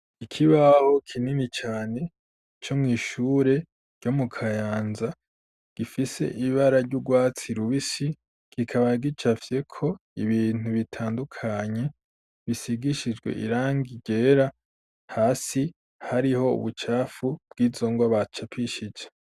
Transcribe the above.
Ikibaho kinini cane co mw'ishure ryo mu Kayanza, gifise ibara ry'urwatsi rubisi kikaba gicafyeko ibintu bitandukanye bisigishijwe irangi ryera, hasi hariho ubucafu bw'izo ngwa bacapishije.